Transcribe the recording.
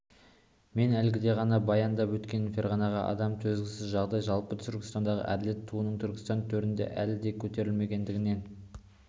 мен әлгіде ғана баяндап өткен ферғанадағы адам төзгісіз жағдай жалпы түркістандағы әділет туының түркістан төрінде әлі де көтерілмегендігінен